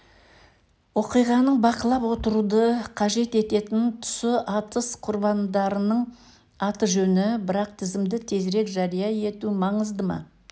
оқиғаның бақылап отыруды қажет ететін тұсы атыс құрбандарының аты-жөні бірақ тізімді тезірек жария ету маңызды ма